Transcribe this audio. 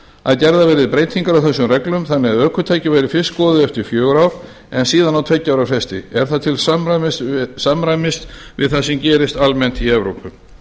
að gerðar verði breytingar á þessum reglum þannig að ökutæki væru fyrst skoðuð eftir fjögur ár en síðan á tveggja ára fresti er það til samræmis við það sem gerist almennt í evrópu